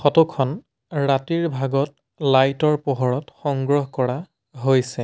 Photo খন ৰাতিৰ ভাগত লাইট ৰ পোহৰত সংগ্ৰহ কৰা হৈছে।